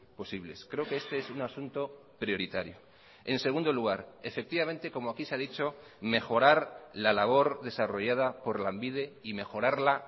posibles creo que este es un asunto prioritario en segundo lugar efectivamente como aquí se ha dicho mejorar la labor desarrollada por lanbide y mejorarla